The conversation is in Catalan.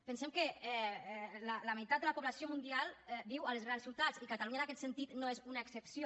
pensem que la meitat de la població mundial viu a les grans ciutats i catalunya en aquest sentit no és una excepció